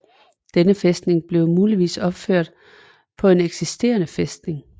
Denne fæstning blev muligvis opført på en eksisterende fæstning